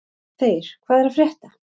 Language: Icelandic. Þeyr, hvað er að frétta?